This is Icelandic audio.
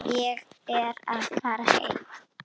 Ég er að fara heim.